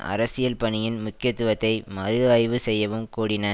அரசியல் பணியின் முக்கியத்துவத்தை மறு ஆய்வு செய்யவும் கூடின